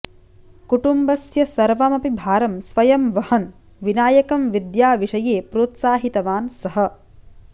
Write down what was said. कुटुम्बस्य सर्वमपि भारं स्वयं वहन् विनायकं विद्याविषये प्रोत्साहितवान् सः